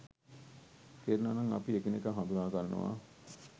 කෙරෙනවා නම් අපි එකිනෙකා හඳුනා ගන්නවා